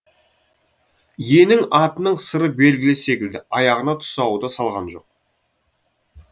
иесіне атының сыры белгілі секілді аяғына тұсау да салған жоқ